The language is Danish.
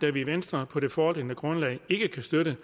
da vi i venstre på det foreliggende grundlag ikke kan støtte